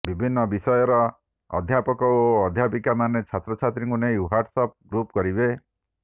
ବିଭିନ୍ନ ବିଷୟର ଅଧ୍ୟାପକ ଓ ଅଧ୍ୟାପିକାମାନେ ଛାତ୍ରଛାତ୍ରୀଙ୍କୁ ନେଇ ହ୍ୱାଟ୍ସ ଆପ୍ ଗ୍ରୁପ କରିବେ